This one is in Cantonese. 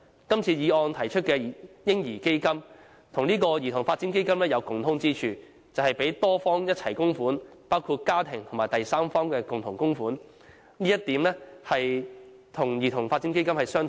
今次議案提出的"嬰兒基金"，與這個兒童發展基金有共通之處，便是由多方共同供款，包括家庭及第三方的共同供款，這一點與兒童發展基金相同。